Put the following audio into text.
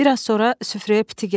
Bir az sonra süfrəyə piti gəldi.